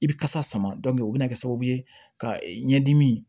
I bɛ kasa sama o bɛ na kɛ sababu ye ka ɲɛdimi